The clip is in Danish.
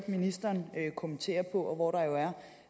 ministeren kommentere og hvor der jo